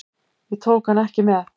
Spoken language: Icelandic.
Ég tók hann ekki með.